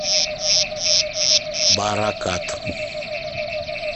баракат